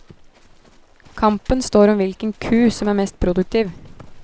Kampen står om hvilken ku som er mest produktiv.